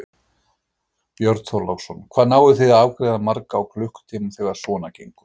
Björn Þorláksson: Hvað náið þið að afgreiða marga á klukkutíma þegar svona gengur?